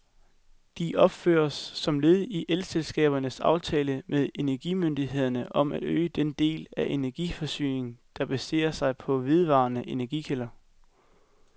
De opføres som led i elselskabernes aftale med energimyndighederne om at øge den del af energiforsyningen, der baserer sig på vedvarende energikilder.